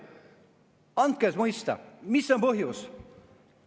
Andke mõista, mis on põhjus!